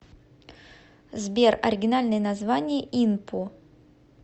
сбер оригинальное название инпу